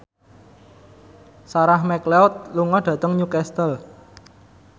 Sarah McLeod lunga dhateng Newcastle